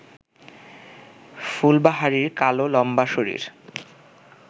ফুলবাহারির কালো লম্বা শরীর